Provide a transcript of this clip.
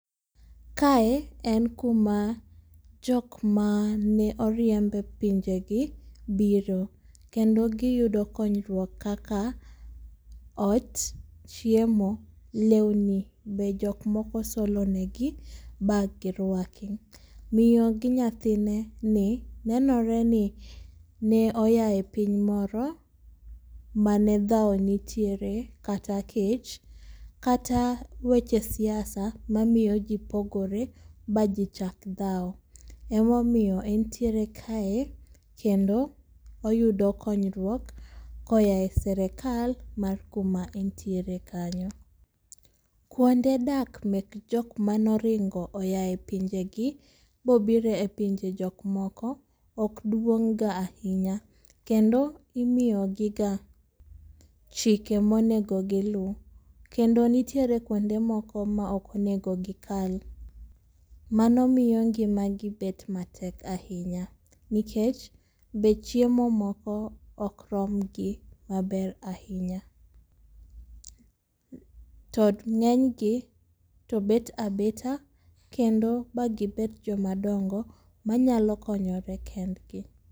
Kae, en kuma jok maneoriemb e pinjegi biro. Kendo giyudo konyruok kaka, ot, chiemo, lewni be jokmoko solonegi, bagirwaki. Mio gi nyathineni, nenoreni ne oyae e piny moro, mane dhawo nitiere, kata kech kata weche siasa, mamiyo ji pogore baji chak dhawo. Emomiyo entiere kae kendo oyudo konyruok koa e serikal, mar kuma entiere kanyo. Kuonde dak mek jomanoringo oyae e pinjegi bobiro e pinje jok moko okduong'ga ahinya. Kendo imiyogiga chike monego giluw. Kendo nitiere kuonde moko mokonego gikal. Mano miyo ngimagi bet matek ahinya, nikech, be chiemo moko okromgi maber ahinya. To ng'enygi to bet abeta kendo magibet jomadongo, manyalo konyore kendgi